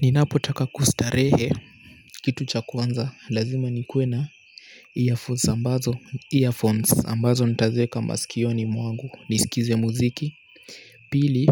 Ninapotaka kustarehe, kitu cha kwanza, lazima nikuwe na earphones ambazo, earphones ambazo nitazieka masikioni mwangu, nisikize muziki pili,